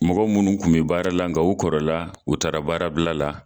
Mɔgɔ munnu kun be baara la ,nga u kɔrɔ la u taara baarabila la.